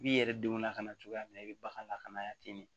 I b'i yɛrɛ denw lakana cogoya min na i bɛ bagan lakana yan ten de